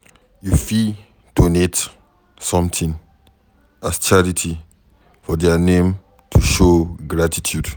You fit donate something as charity for their name to show gratitude